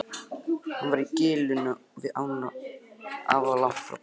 Hann var í gilinu við ána alllangt frá bænum.